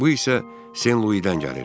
Bu isə Sen-Luydən gəlir.